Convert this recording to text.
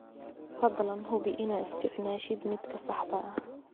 Fadlan hubi inaad isticmaashid midka saxda ah.